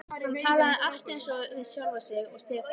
Hann talaði allt eins við sjálfan sig og Stefán.